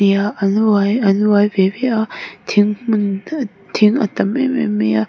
an uai ve ve a thing hmun thing a tam em em mai a.